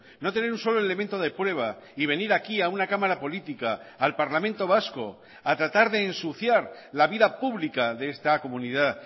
no tener un solo elemento de prueba y venir aquí a una cámara política al parlamento vasco a tratar de ensuciar la vida pública de esta comunidad